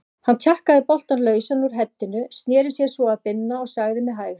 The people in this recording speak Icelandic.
Hann tjakkaði boltann lausan úr heddinu, sneri sér svo að Binna og sagði með hægð